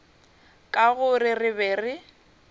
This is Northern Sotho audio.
ka gore re be re